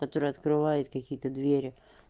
который открывает какие-то двери